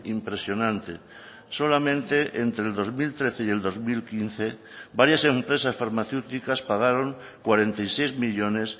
impresionante solamente entre el dos mil trece y el dos mil quince varias empresas farmacéuticas pagaron cuarenta y seis millónes